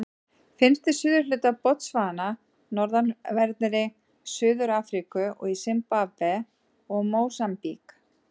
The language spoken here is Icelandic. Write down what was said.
Finnst í suðurhluta Botsvana, norðanverðri Suður-Afríku og í Simbabve og Mósambík.